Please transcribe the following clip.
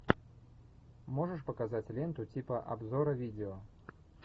можешь показать ленту типа обзора видео